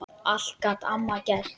Allt gat amma gert.